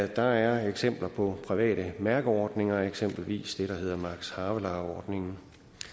der er eksempler på private mærkeordninger eksempelvis det der hedder max havelaar ordningen